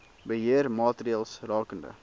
beheer maatreëls rakende